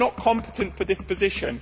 You are not competent for this position.